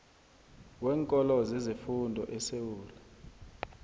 weenkolo zezefundo esewula